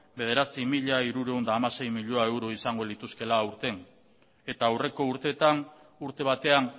bederatzi mila hirurehun eta hamasei milioi euro izango lituzkeela aurten eta aurreko urteetan urte batean